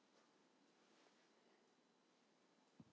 Hvað getur maður annað?